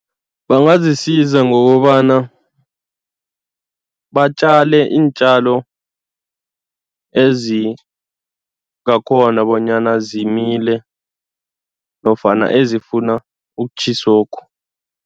Bangazisiza ngokobana batjale iintjalo ezinye ngakhona bonyana zimile nofana ezifuna ukutjhisokhu.